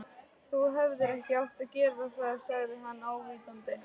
Þú hefðir ekki átt að gera það sagði hann ávítandi.